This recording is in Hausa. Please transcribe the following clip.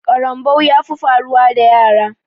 Karambau ya fi faruwa da yara